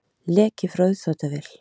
Leki frá uppþvottavél